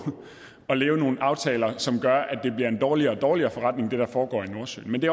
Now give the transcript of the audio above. at lave nogle aftaler som gør at det bliver en dårligere og dårligere forretning hvad der foregår nordsøen men det